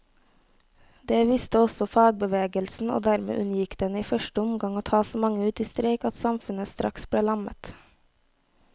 Det visste også fagbevegelsen, og dermed unngikk den i første omgang å ta så mange ut i streik at samfunnet straks ble lammet.